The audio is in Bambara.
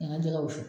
A ka jɛgɛ wusu